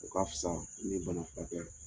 O ka fisa ni bana furakɛ